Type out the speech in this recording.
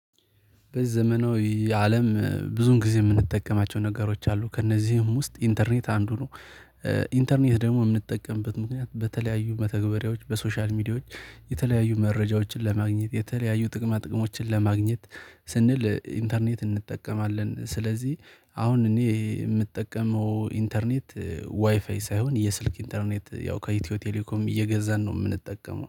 በዘመናዊ አለም ብዙን ጊዜ የምንጠቀማቸው ነገሮች አሉ ከእነዚህም ውስጥ ኢንተርኔት አንዱ ነው። ኢንተርኔት ደግሞ የምንጠቀምበት ምክንያት በተለያዩ መተግበሪያዎች በሶሻል ሚዲያዎች የተለያዩ መረጃዎችን ለማግኘት የተለያዩ ጥቅማ ጥቅሞችን ለማግኘት ስንል ኢንተርኔት እንጠቀማለን። ስለዚህ አሁን እኔ የምጠቀመው ኢንተርኔት ዋይፋይ ሳይሆን የስልክ ኢንተርኔት ያው ከኢትዮ ቴሌኮም እየገዛን ነው የምንጠቀመው